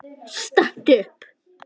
Stattu upp!